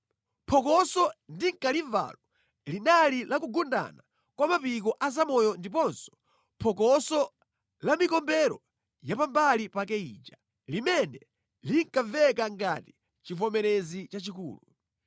Phokoso ndinkalimvalo linali la kugundana kwa mapiko a zamoyo ndiponso phokoso la mikombero ya pambali pake ija, limene linkamveka ngati chivomerezi chachikulu.